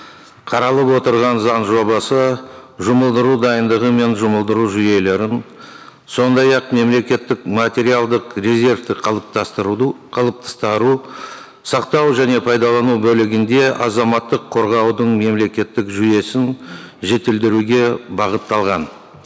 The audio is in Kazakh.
қаралып отырған заң жобасы жұмылдыру дайындығы мен жұмылдыру жүйелерін сондай ақ мемлекеттік материалдық резервті сақтау және пайдалану бөлігінде азаматтық қорғаудың мемлекеттік жүйесін жетілдіруге бағытталған